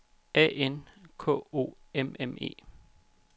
A N K O M M E